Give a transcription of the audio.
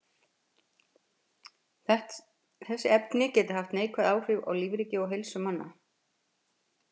þessi efni geta haft neikvæð áhrif á lífríki og heilsu manna